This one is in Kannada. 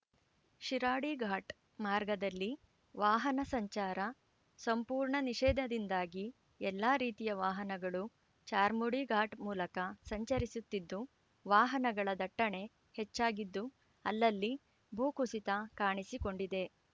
ಶಿರಾಡಿಘಾಟ್‌ ಮಾರ್ಗದಲ್ಲಿ ವಾಹನ ಸಂಚಾರ ಸಂಪೂರ್ಣ ನಿಷೇಧದಿಂದಾಗಿ ಎಲ್ಲಾ ರೀತಿಯ ವಾಹನಗಳು ಚಾರ್ಮುಡಿ ಘಾಟ್‌ ಮೂಲಕ ಸಂಚರಿಸುತ್ತಿದ್ದು ವಾಹನಗಳ ದಟ್ಟಣೆ ಹೆಚ್ಚಾಗಿದ್ದು ಅಲ್ಲಲ್ಲಿ ಭೂಕುಸಿತ ಕಾಣಿಸಿ ಕೊಂಡಿದೆ